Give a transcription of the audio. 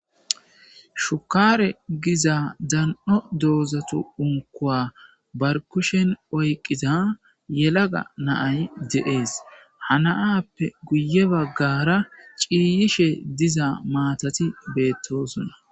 Shukaare giza dan'o doozatu unkuwa barkushen oyqqida yelaga na'ay de'ees. Ha na'appe guye baggara ciiyishe diza maatati beettoosona.